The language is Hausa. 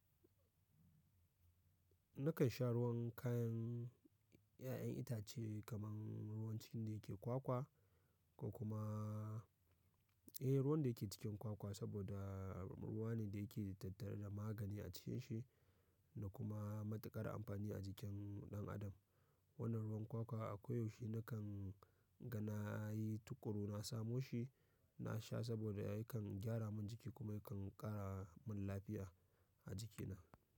Nakan sha ruwan kayan 'ya'yan itace kamar ruwan cikin da yake kwakwa ko kuma, eh ruwan da yake cikin kwakwa saboda ruwa ne da yake da tattare da magani a cikin shi da kuma matuƙar amfani a jikin ɗan adam. Wannan ruwan kwakwa a koyaushe nakan gana yi tuƙuru na samo shi, na sha saboda yakan gyara min jiki kuma yakan ƙara min lafiya a jikina.